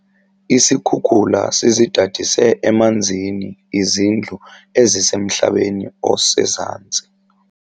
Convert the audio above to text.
Isikhukula sizidadise emanzini izindlu ezisemhlabeni osezantsi.